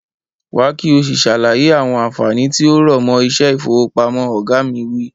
Wá ki o si sàlàyé àwọn ànfàní tí ó rọ̀mọ́ iṣẹ́ ifowopamọ. Oga mi wi.